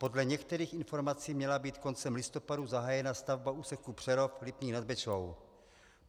Podle některých informací měla být koncem listopadu zahájena stavba úseku Přerov - Lipník nad Bečvou.